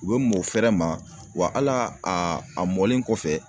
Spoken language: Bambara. U bɛ mɔn fɛrɛ ma wa hali a a mɔlen kɔfɛ